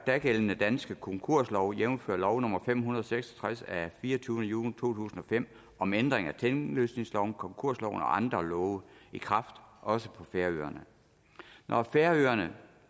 dagældende danske konkurslov jævnfør lov nummer fem hundrede og seks og tres af fireogtyvende juni to tusind og fem om ændringer af tinglysningsloven konkursloven og andre love i kraft også på færøerne når færøerne